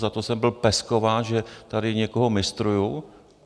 Za to jsem byl peskován, že tady někoho mistruju.